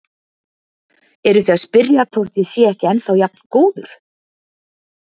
Eruð þið að spyrja hvort ég sé ekki ennþá jafn góður?